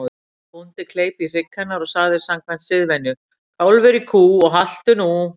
Bóndi kleip í hrygg hennar og sagði samkvæmt siðvenju: Kálfur í kú og haltu nú.